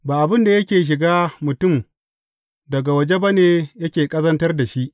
Ba abin da yake shiga mutum daga waje ba ne yake ƙazantar da shi.